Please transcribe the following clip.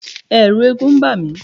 Ẹ̀ẹ̀rù eégún ń bà mí.